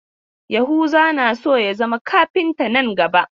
Yahuza na so ya zama kafinta nan gaba.